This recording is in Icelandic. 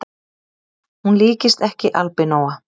Hún líkist ekki albinóa